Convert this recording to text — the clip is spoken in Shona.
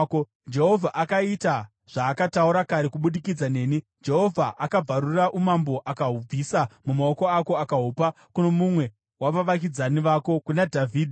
Jehovha akaita zvaakataura kare kubudikidza neni. Jehovha akabvarura umambo akahubvisa mumaoko ako akahupa kuno mumwe wavavakidzani vako, kuna Dhavhidhi.